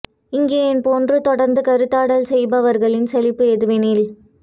இங்கே என் போன்று தொடர்ந்து கருத்தாடல் செய்பவர்களின் சலிப்பு எதுவெனில்